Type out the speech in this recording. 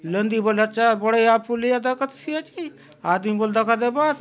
नदी बले अच्छा बढ़िया पुलिया दखसि आचे आदमी बले दखा देबा आत।